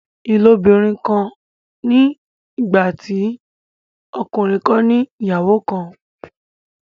ilobirin kán ní nígbàtí ọkùnrin kán ní ìyàwó kán.